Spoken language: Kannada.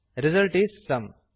ರಿಸಲ್ಟ್ ಇಸ್ ಸುಮ್